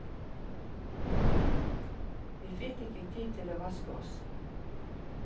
Vi fikk ikke tid til å vaske oss.